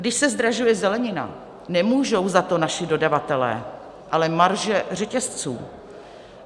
Když se zdražuje zelenina, nemůžou za to naši dodavatelé, ale marže řetězců.